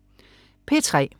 P3: